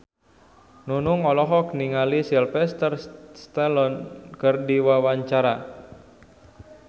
Nunung olohok ningali Sylvester Stallone keur diwawancara